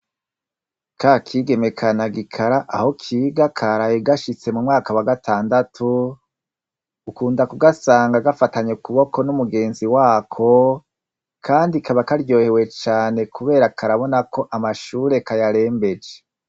Kakigeme ka nagikara aho kiga karaye gashitse mumwaka wa gatandatu mukunda kugasanga gafatanye ukuboko numugenzi wako kandi kaba karyohewe cane kubera karabona ko amashure kayarembeje